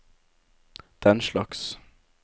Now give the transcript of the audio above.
denslags